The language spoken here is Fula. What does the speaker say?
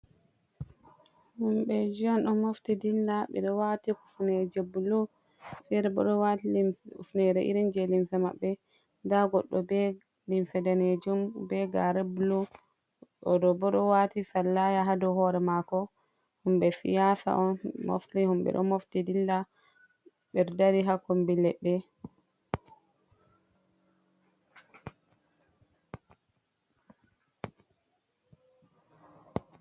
Himɓɓe ji on ɗo mofti dilla, ɓeɗo wati kufneje blu, fere bo ɗo wati hufnere iri je limsa maɓɓe, nda goɗɗo be limse ɗanejum be gare blu, oɗo bo ɗo wati sala ya ha dou hore mako, himɓɓe siyasa on mofti, himɓɓe ɗo mofti dilla ɓe ɗo dari ha kombi leɗɗe.